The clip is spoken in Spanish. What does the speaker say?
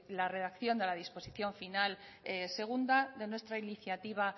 la redacción de la disposición final segunda de nuestra iniciativa